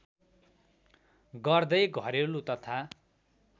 गर्दै घरेलु तथा